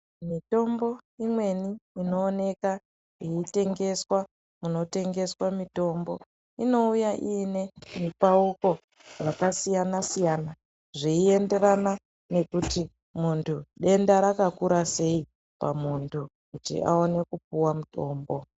Mitombo imweni inoonekwa yeitengeswa kunotengeswa mutombo inouya ine mipauko wakasiyana siyana zveyi enderana nekuti muntu denta ŕakakura sei pamuntu awane kupiwa mutombo.